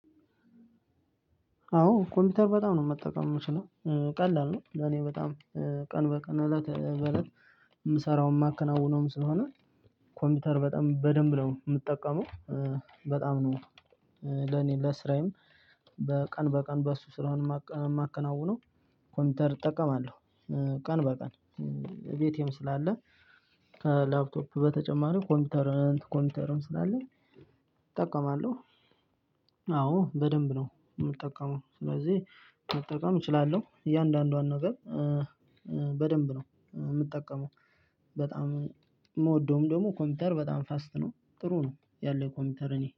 አዎ ኮምፒውተር በጣም ነው መጠቀም የምችለው። ቀላል ነው ለኔ በጣም ቀን በቀን እለት በእለት የምሰራው የማከናውነውም ስለሆነ ኮምፒውተር በጣም በደንብ ነው የምጠቀመው። በጣም ነው ለኔ ለስራዬም በቀን በቀን በሱ ስለ የማከናውነው ኮምፒውተር እጠቀማለሁ። ቀን በቀን ቤቴም ስላለ ላፕቶፕ በተጨማሪው ኮምፒውተርም ኮምፒውተርም ስላለ እጠቀማለሁ። አዎ በደንብ ነው የምጠቀመው። ስለዚህ መጠቀም እችላለሁ። እያንዳንዷን ነገር በደንብ ነው የምጠቀመው። በጣም የምወደውም ደግሞ ኮምፒውተር በጣም ፋስት ነው ጥሩ ነው ያለኝ ኮምፒውተር እኔ።